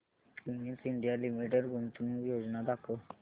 Cummins India limited गुंतवणूक योजना दाखव